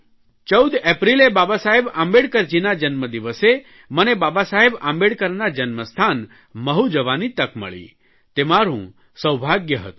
14 એપ્રિલે બાબાસાહેબ આંબેડરજીના જન્મદિવસે મને બાબાસાહેબ આંબેડકરના જન્મસ્થાન મહૂ જવાની તક મળી તે મારૂં સૌભાગ્ય હતું